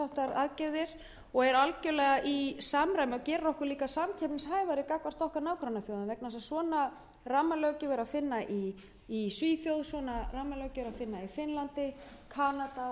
aðgerðir og það gerir okkur líka samkeppnishæfari gagnvart nágrannaþjóðum okkar slíka rammalöggjöf er að finna í svíþjóð í finnlandi í kanada og í öðrum þeim löndum sem við keppum við um fjárfestingar af þessu tagi það